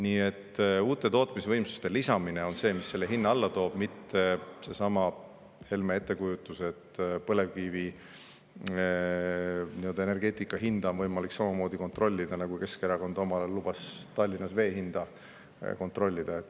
Nii et uute tootmisvõimsuste lisamine on see, mis hinna alla toob, mitte Helme ettekujutus, et põlevkivi hinda on võimalik samamoodi kontrollida, nagu Keskerakond omal ajal lubas Tallinnas vee hinda kontrollida.